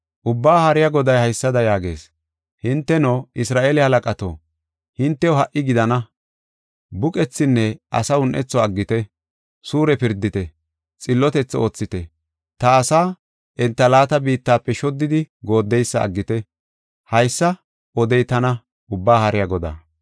Ubbaa Haariya Goday haysada yaagees; “Hinteno, Isra7eele halaqato, hintew ha77i gidana! Buqethinne asaa un7etho aggite; suure pirdite; xillotethi oothite. Ta asaa enta laata biittafe shoddidi gooddeysa aggite. Haysa odey tana Ubbaa Haariya Godaa.